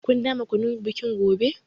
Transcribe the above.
Ku dama kunun bikin gobe.